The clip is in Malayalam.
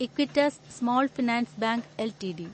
Equitas small finance bank LTD